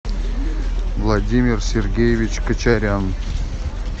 владимир сергеевич качарян